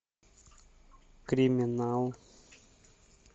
криминал